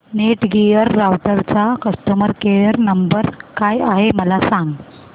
Netgear राउटरचा customer care number काय आहे मला सांग